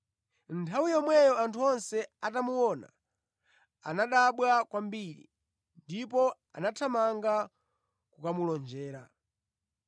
Nthawi yomweyo anthu onse atamuona, anadabwa kwambiri ndipo anathamanga kukamulonjera.